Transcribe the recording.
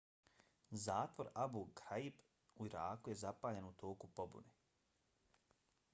zatvor abu ghraib u iraku je zapaljen u toku pobune